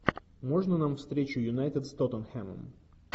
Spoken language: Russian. можно нам встречу юнайтед с тоттенхэмом